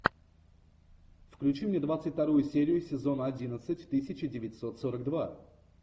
включи мне двадцать вторую серию сезона одиннадцать тысяча девятьсот сорок два